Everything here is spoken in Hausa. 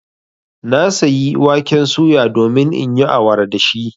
Na sayi waken suya domin in yi awara da shi.